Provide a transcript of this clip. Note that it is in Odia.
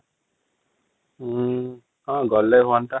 ଉଁ ହଁ ଗଲେ ହୁଆନ୍ତା |